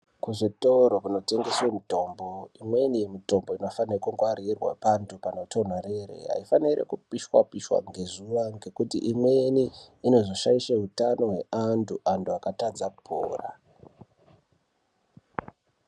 Kuzvitoro kunotengeswa mitombo imweni mitombo inofanira kungwarirwa pantu panotondorere haifaniri kupishwa pishwa ngezuwa ngekuti imweni inozoshaisha utano hweantu akatadza kupora.